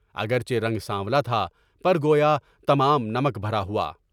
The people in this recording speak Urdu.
اگرچہ رنگ سانولا تھا، پر گویا تمام نمک بھرا ہوا۔